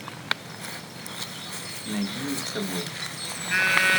найди не с тобой